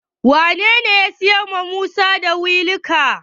Wanene ya siyarwa da Musa wilikan?